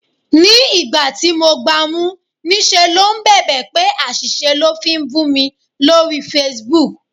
Ní ìgbà tí mo gba mú, ní ṣe ló ń bèbè pé àṣìṣe lò ń fi bù mi lórí Facebook.